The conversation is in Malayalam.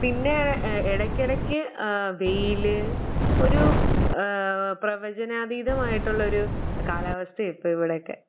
പിന്നെ ഏഹ് എടയ്ക്കടയ്ക്ക് ആഹ് വെയില് ഒരു ആഹ് പ്രവചനാതീതമായിട്ടുള്ളൊരു കാലാവസ്ഥ ഇപ്പം ഇവടെയൊക്കെ.